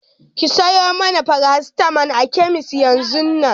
Ki sayo mana farasitamol a kemis yanzun nan!